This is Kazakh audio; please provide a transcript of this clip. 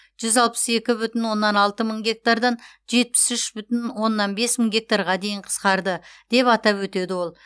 жүз алпыс екі бүтін оннан алты мың гектардан жетпіс үш бүтін оннан бес мың гектарға дейін қысқарды деп атап өтеді ол